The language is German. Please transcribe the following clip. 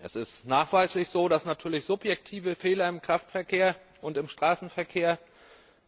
Es ist nachweislich so, dass natürlich subjektive Fehler im Kraftverkehr und im Straßenverkehr